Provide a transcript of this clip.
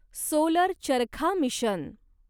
solar charkha mission